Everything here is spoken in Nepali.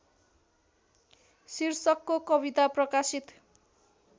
शीर्षकको कविता प्रकाशित